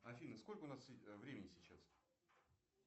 афина сколько у нас времени сейчас